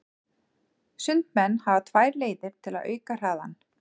Sundmenn hafa tvær leiðir til að auka hraðann.